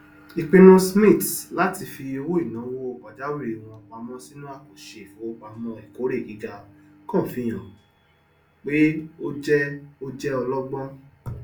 ipinnu smiths láti fi owóìnàwó pàjáwìrì wọn pamọ sínú àkàǹṣe ìfowopamọ ìkórè gíga kan fi hàn pé ó jẹ ó jẹ ọlọgbọn